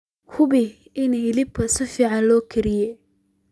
Hubi in hilibka si fiican loo kariyey.